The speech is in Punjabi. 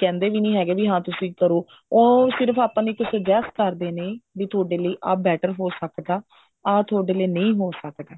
ਕਹਿੰਦੇ ਵੀ ਨਹੀਂ ਹੈਗੇ ਵੀ ਹਾਂ ਤੁਸੀਂ ਕਰੋ ਉਹ ਸਿਰਫ ਆਪਾਂ ਨੂੰ ਇੱਕ suggest ਕਰਦੇ ਨੇ ਵੀ ਇਹ ਤੁਹਾਡੇ ਲਈ ਆਹ better ਹੋ ਸਕਦਾ ਆਹ ਥੋਡੇ ਲਈ ਨਹੀਂ ਹੋ ਸਕਦਾ